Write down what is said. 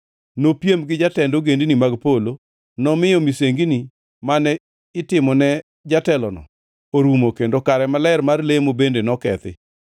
Nopiem gi jatend ogendini mag polo, nomiyo misengini mane itimone jatelono orumo kendo kare maler mar lemo bende nokethi.